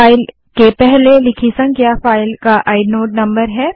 file के पहले लिखी संख्या फ़ाइल का आइनोड नंबर है